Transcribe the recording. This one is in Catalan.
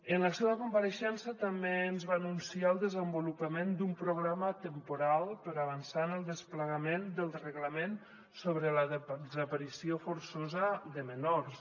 en la seva compareixença també ens va anunciar el desenvolupament d’un programa temporal per avançar en el desplegament del reglament sobre la desaparició forçosa de menors